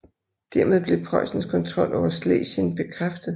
Dermed blev Preussens kontrol over Schlesien bekræftet